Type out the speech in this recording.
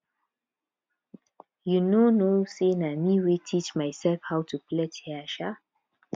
you no know say na me wey teach myself how to plait hair um